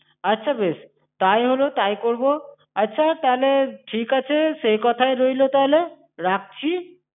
আচ্ছা বেশ, তাই হল, তাই করবো। আচ্ছা তাহলে ঠিক আছে, সেই কথাই রইল তাহলে, রাখছি?